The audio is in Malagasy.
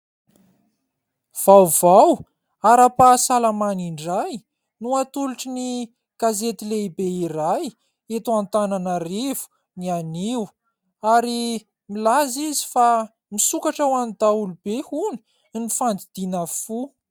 Vaovao ara-pahasalamana indray no atolotry ny gazety lehibe iray eto Antananarivo ny anio ary milaza izy fa misokatra ho an'ny daholobe hono ny fandidiana fo.